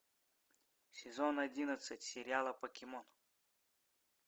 сезон одиннадцать сериала покемон